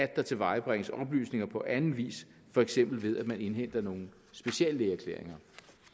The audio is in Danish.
der tilvejebringes oplysninger på anden vis for eksempel ved at man indhenter nogle speciallægeerklæringer